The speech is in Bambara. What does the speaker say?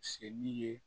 Seli ye